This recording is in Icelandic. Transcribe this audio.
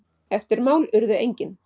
Eftirmál urðu engin.